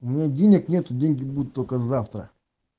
у меня денег нету деньги будут только завтра